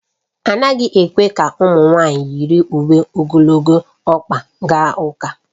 Anaghị ekwe ka ụmụ nwaanyị yiri uwe ogologo ọkpa gaa ụka